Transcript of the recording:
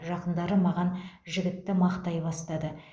жақындары маған жігітті мақтай бастады